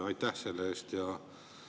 Aitäh selle eest!